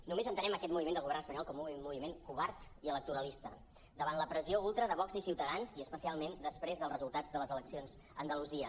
només entenem aquest moviment del govern espanyol com un moviment co·vard i electoralista davant de la pressió ultra de vox i ciutadans i especialment des·prés dels resultats de les eleccions a andalusia